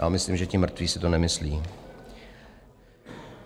Já myslím, že ti mrtví si to nemyslí.